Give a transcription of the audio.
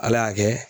Ala y'a kɛ